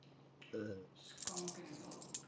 schonkenville